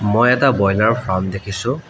মই এটা boiler farm দেখিছোঁ।